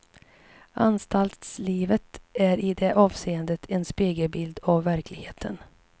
Anstaltslivet är i det avseendet en spegelbild av verkligheten.